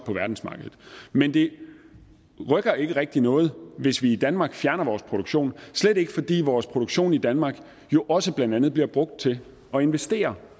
på verdensmarkedet men det rykker ikke rigtig noget hvis vi i danmark fjerner vores produktion slet ikke fordi vores produktion i danmark jo også blandt andet bliver brugt til at investere